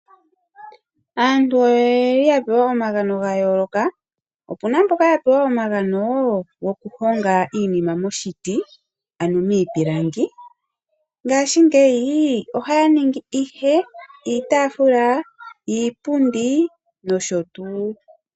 Aantu oyeli yapewa omagano gayooloka opena mboka ya pewa omagano gokuhonga iinima moshiti ano miipilangi ,ngashingeyi ohaya ningi ihe iitafula, iipundi nosho tuu.